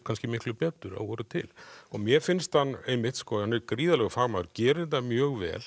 kannski miklu betur að voru til mér finnst hann einmitt hann er gríðarlegur fagmaður gerir þetta mjög vel